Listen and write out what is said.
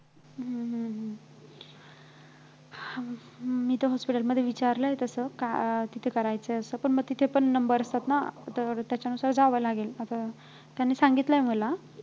हम्म हम्म हम्म मी तर hospital मध्ये विचारलंय तसं अं तिथं करायचं आहे असं पण तिथेपण number असतात ना तर त्यांच्यानुसार जावं लागेल आता त्यांनी सांगितलंय मला